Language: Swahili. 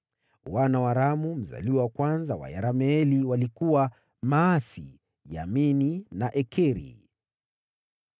Wana wa Ramu mzaliwa wa kwanza wa Yerameeli walikuwa: Maasi, Yamini na Ekeri.